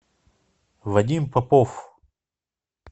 вадим попов